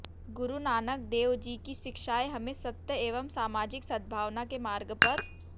गुरु नानक देव जी की शिक्षाएं हमें सत्य एवं सामाजिक सद्भावना के मार्ग पर